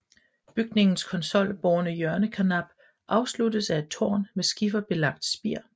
Bygningens konsolbårne hjørnekarnap afsluttes af et tårn med skiferbelagt spir